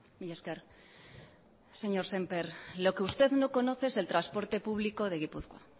mila esker señor semper lo que usted no conoce es el transporte público de gipuzkoa